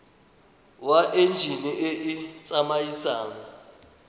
wa enjine e e tsamaisang